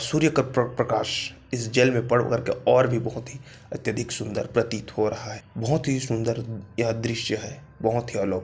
सूर्य का प्र प्रकाश इस जल में पड़ करके और भी बहुत ही अत्यधिक सुंदर प्रतीत हो रहा है बहुत ही सुंदर यह दृश्य हैबहुत ही अलौ--